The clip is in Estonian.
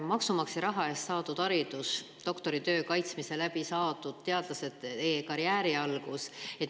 Maksumaksja raha eest saadud haridus doktoritöö kaitsmise järel on teadlase karjääri algus.